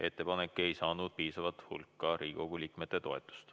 Ettepanek ei saanud piisava hulga Riigikogu liikmete toetust.